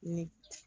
Ni